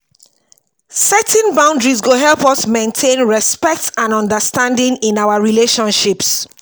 setting boundaries go help us maintain respect and understanding in our relationships.